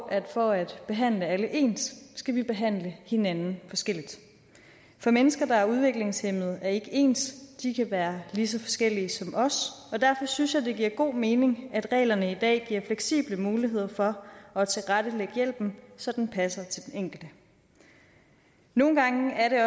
at for at behandle alle ens skal vi behandle hinanden forskelligt for mennesker der er udviklingshæmmede er ikke ens de kan være lige så forskellige som os og derfor synes jeg det giver god mening at reglerne i dag giver fleksible muligheder for at tilrettelægge hjælpen så den passer til den enkelte nogle gange er det